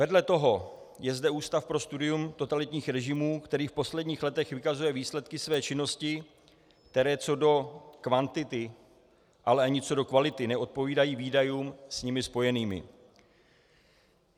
Vedle toho je zde Ústav pro studium totalitních režimů, který v posledních letech vykazuje výsledky své činnosti, které co do kvantity, ale ani co do kvality neodpovídají výdajům s nimi spojeným.